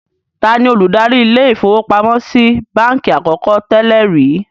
Taani olùdarí ilé-ìfowópamọ́sí i báńkì àkọ́kọ́ tẹ́lẹ̀ rìí?